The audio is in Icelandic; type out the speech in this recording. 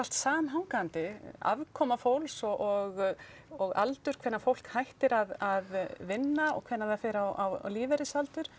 samhangandi afkoma fólks og og aldur hvenær fólk hættir að vinna og hvenær það fer á lífeyrisaldur